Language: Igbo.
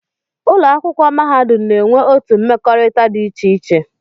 Ụlọakwụkwọ mahadum na-enwe otu mmekọrịta dị iche iche